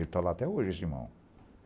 Ele está lá até hoje, esse irmão.